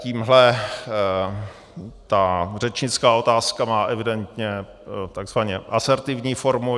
Tímhle ta řečnická otázka má evidentně tzv. asertivní formu.